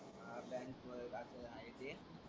हा आहे ते.